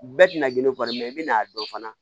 Bɛɛ tɛna gindo fɔ dɛ i bɛna dɔn fana